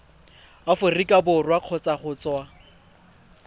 aforika borwa kgotsa go tswa